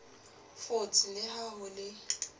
fotse le ha ho le